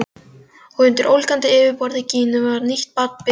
Og undir ólgandi yfirborði Gínu var nýtt barn byrjað vegferð.